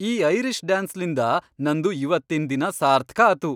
ಈ ಐರಿಷ್ ಡ್ಯಾನ್ಸ್ಲಿಂದ ನನ್ದು ಇವತ್ತಿನ್ ದಿನಾ ಸಾರ್ಥ್ಕ ಆತು.